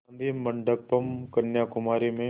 गाधी मंडपम् कन्याकुमारी में